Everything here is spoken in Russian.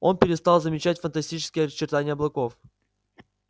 он перестал замечать фантастические очертания облаков